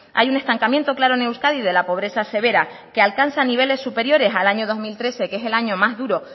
hay un estancamiento claro en euskadi de la pobreza severa que alcanzan niveles superiores al año dos mil trece que es el año más duro